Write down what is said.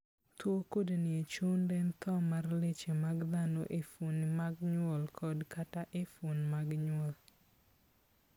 Tuo kudni e chund en tho mar leche mag dhano e fuon mag nyuol kod/kata e fuon mag nyuol.